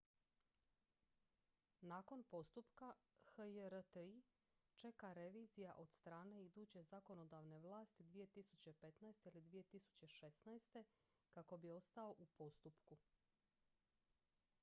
nakon postupka hjr-3 čeka revizija od strane iduće zakonodavne vlasti 2015. ili 2016. kako bi ostao u postupku